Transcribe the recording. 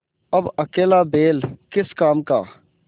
अब अकेला बैल किस काम का